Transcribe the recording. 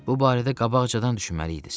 Bu barədə qabaqcadan düşünməliydiz.